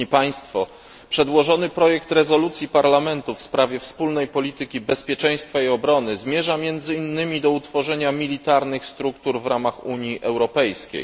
Panie przewodniczący! Przedłożony projekt rezolucji Parlamentu w sprawie wspólnej polityki bezpieczeństwa i obrony zmierza między innymi do utworzenia militarnych struktur w ramach Unii Europejskiej.